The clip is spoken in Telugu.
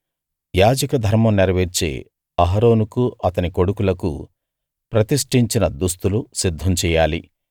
యాజక ధర్మం నెరవేర్చే అహరోనుకు అతని కొడుకులకు ప్రతిష్టించిన దుస్తులు సిద్ధం చెయ్యాలి